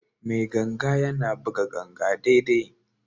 Mai ganga yana buga ganga daidai.